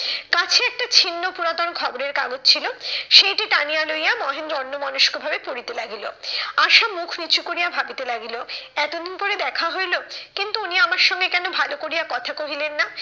কাছেই একটা ছিন্ন পুরাতন খবরের কাগজ ছিল, সেইটি টানিয়া লইয়া মহেন্দ্র অন্যমনস্ক ভাবে পড়িতে লাগিল। আশা মুখ নিচু করিয়া ভাবিতে লাগিল এতদিন পরে দেখা হইলো, কিন্তু উনি আমার সঙ্গে কেন ভালো করিয়া কথা কহিলেন না?